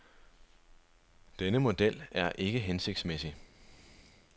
Denne model er ikke hensigtsmæssig.